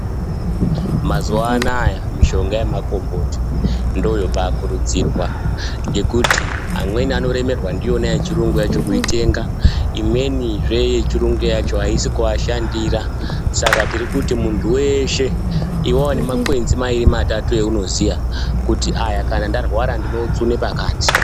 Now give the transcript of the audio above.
Mazuwa anaya mishonga yemakomboti ndoyobaakurudzirwa ngekuti amweni anoremerwa ndiyona yechirungu yachona kuitenga, imweni zvee yechirungu yacho aisi kuashandira. Saka tirikuti muntu weshe iwawo nemakwenzi mairi matatu eunoziya kuti aya kana ndarwara ndinootsune pakati.